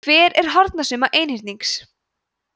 hver er hornasumma einhyrnings